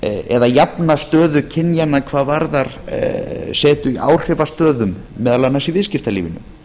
eða jafna stöðu kynjanna hvað varðar setu í áhrifastöðum meðal annars í viðskiptalífinu